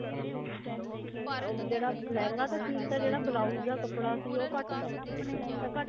ਜਿਹੜਾ ਲਹਿੰਗਾ ਤਾਂ ਠੀਕ ਸੀਗਾ ਜਿਹੜਾ blouse ਦਾ ਕੱਪੜਾ ਸੀ ਉਹ ਘੱਟ ਤਾ ਤਾਂ ਘੱਟ